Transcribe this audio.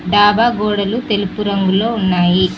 డాబా గోడలు తెలుపు రంగులో ఉన్నాయి.